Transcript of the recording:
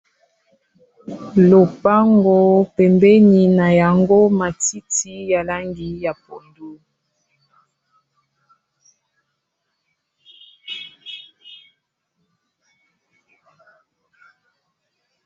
Lopango pembeni na yango matiti ya langi ya pondu